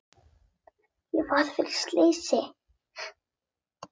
Ég varð fyrir slysi,